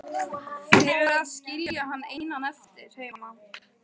Fyrir að skilja hann einan eftir heima.